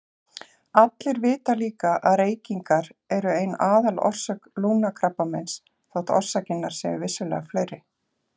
Allir vita líka að reykingar eru ein aðalorsök lungnakrabbameins þótt orsakirnar séu vissulega fleiri.